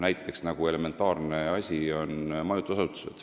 Näiteks on majutusasutused üks elementaarne asi.